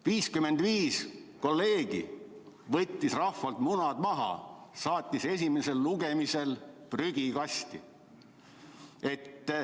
55 kolleegi võtsid rahval munad maha, saatsid esimesel lugemisel prügikasti.